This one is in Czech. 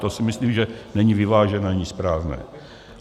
To si myslím, že není vyvážené ani správné.